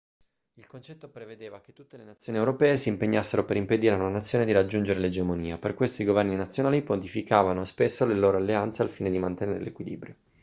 il concetto prevedeva che tutte le nazioni europee si impegnassero per impedire a una nazione di raggiungere l'egemonia per questo i governi nazionali modificavano spesso le loro alleanze al fine di mantenere l'equilibrio